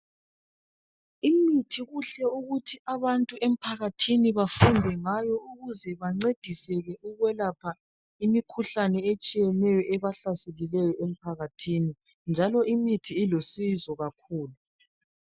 Imithi kuhle ukuthi abantu emphakathini bafunde ngayo .Ukuze bancediseke ukwelapha imikhuhlane etshiyeneyo ebahlaselileyo emphakathini njalo imithi ilusizo kakhulu.